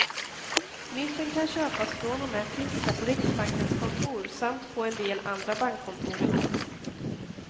Mynten kan köpas från och med tisdag på riksbankens kontor samt på en del andra bankkontor i landet.